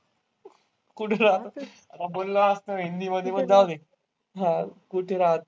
कुठं राहत असेल? आता बोललो असतो मी. हिंदी मध्ये पण जाऊदे. आह कुठे राहतो.